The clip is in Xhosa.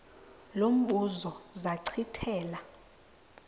lo mbuzo zachithela